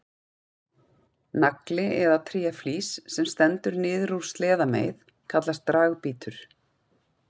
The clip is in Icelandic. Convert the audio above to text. Nagli eða tréflís sem stendur niður úr sleðameið kallast dragbítur.